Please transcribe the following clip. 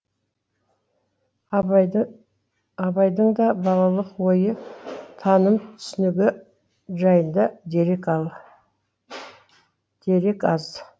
абайдың да балалық ойы таным түсінігі жайында дерек аз